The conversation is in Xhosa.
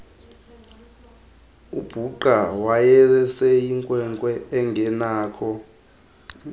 ubhuqa wayeseyinkwenkwe engenakho